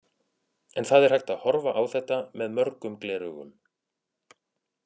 En það er hægt að horfa á þetta með mörgum gleraugum.